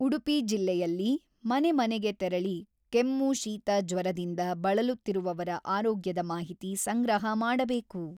ಉಡುಪಿ ಜಿಲ್ಲೆಯಲ್ಲಿ ಮನೆ ಮನೆಗೆ ತೆರಳಿ ಕೆಮ್ಮು-ಶೀತ-ಜ್ವರದಿಂದ ಬಳಲುತ್ತಿರುವವರ ಆರೋಗ್ಯದ ಮಾಹಿತಿ ಸಂಗ್ರಹ ಮಾಡಬೇಕು.